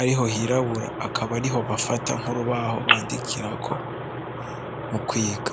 ariho hirabura, akaba ariho bafata nk'urubaho bandikirako mu kwiga.